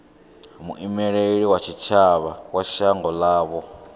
muimeli wa tshitshavha wa shango ḽavho